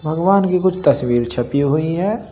भगवान की कुछ तस्वीर छपी हुई हैं।